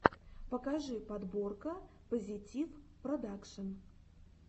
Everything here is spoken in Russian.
покажи подборка позитивпродакшн